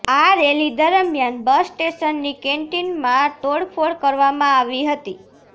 આ રેલી દરમિયાન બસ સ્ટેશનની કેન્ટીનમાં તોડફોડ કરવામાં આવી હતી